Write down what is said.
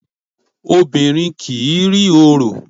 Obìnrin kì í rí orò.